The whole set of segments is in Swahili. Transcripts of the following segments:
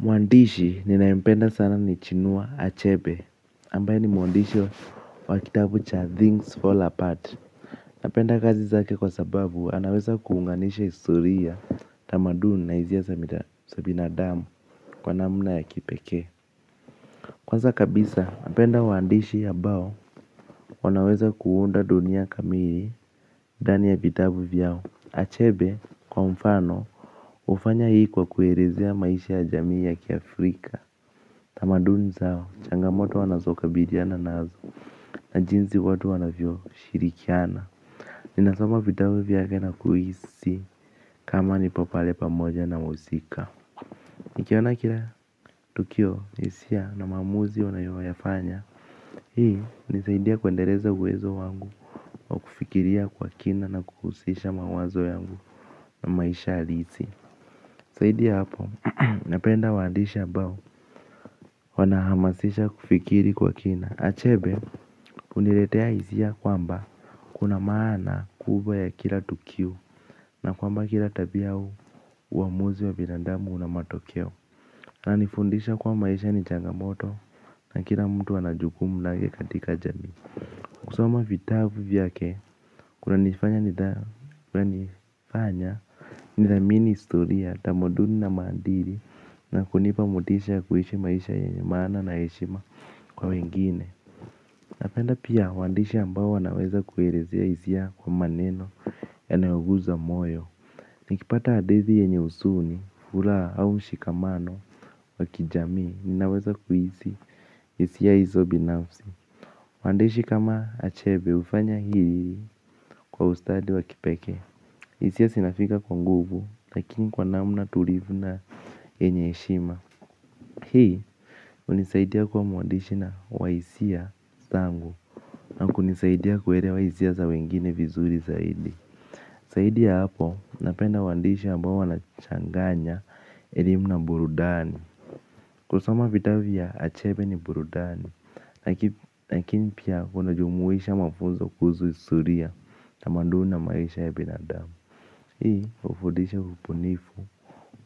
Mwandishi ninayempenda sana ni chinua Achebe, ambaye ni mwandishi wa kitabu cha Things Fall Apart. Napenda kazi zake kwa sababu anaweza kuunganisha historia tamaduni na hisia za binadamu kwa namna ya kipekee. Kwanza kabisa, napenda waandishi ambao, wanaweza kuunda dunia kamili, ndani ya vitabu vyao. Achebe, kwa mfano, hufanya hii kwa kuelezea maishi ya jamii ya kiafrika. Tamaduni zao, changamoto wanazo kabidhiana nazo na jinsi watu wanavyo shirikiana. Ninasoma vitabu vyake na kuhisi kama nipo pale pamoja na muhusika. Nikiona kila tukio hisia na maamuzi wanayo yafanya. Hii hunisaidia kuendeleza uwezo wangu wa kufikiria kwa kina na kuhusisha mawazo yangu na maisha hasili zaidi ya hapo, napenda waandishi ambao, wanahamasisha kufikiri kwa kina Achebe huniletea hisia kwamba kuna maana kubwa ya kila tukiu na kwamba kila tabia au uamuzi wa binandamu una matokeo wana nifundisha kuwa maisha ni changamoto na kila mtu ana jukumu lake katika jamii. Kusoma vitabu vyake kuna nifanya nidhamini historia tamaduni na maandili na kunipa motisha ya kuishi maisha yenye maana na heshima kwa wengine. Napenda pia waandishi ambao wanaweza kuelezea hisia kwa maneno ya nayoguza moyo. Nikipata hadithi yenye huzuni furaha au mshikamano wa kijamii ninaweza kuhisi hisia hizo binafsi. Waandishi kama achebe hufanya hili kwa ustadi wa kipekee. Hisia zinafika kwa nguvu lakini kwa namna tulivu na yenye heshima. Hii hunisaidia kuwa muandishi na wa hisia zangu na kunisaidia kuelewa hisia za wengine vizuri zaidi zaidi ya hapo napenda waandishi ambao wanachanganya elimu na burudani kusoma vitabu vya achebe ni burudani lakini pia unajumuisha mafunzo kuhusu historia tamaduni na maisha ya binadamu. Hii hufudisha ubunifu,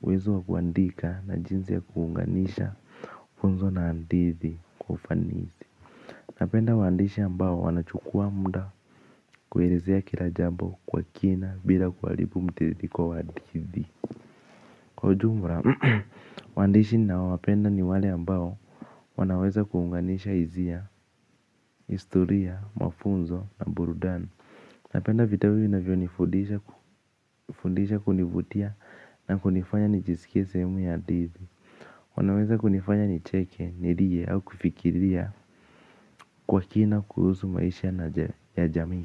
uwezo wa kuandika na jinsi ya kuunganisha funzo na hadithi kwa ufanisi napenda waandishi ambao wanachukua muda kuelezea kilajambo kwa kina bila kuharibu mtiririko wa hadithi. Kwa ujumla waandishi ninaowapenda ni wale ambao wanaweza kuunganisha hisia, historia, mafunzo na burudani. Napenda vitabu vinavyo nifundisha kunivutia na kunifanya nijisikie sehemu ya hadithi. Wanaweza kunifanya nicheke, nilie au kufikiria kwa kina kuhusu maisha ya jamii.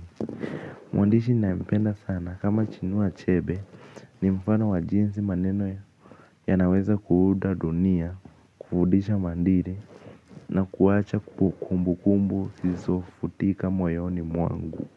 Mwandishi ninaempenda sana kama chinua achebe ni mfano wa jinsi maneno yanaweza kuunda dunia, kufundisha maadili na kuwacha kukumbu kumbu zisizofutika moyoni mwangu.